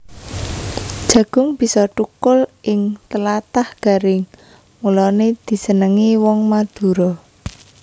Jagung bisa thukul ing tlatah garing mulané disenengi wong Madura